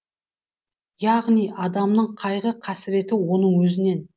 яғни адамның қайғы қасіреті оның өзінен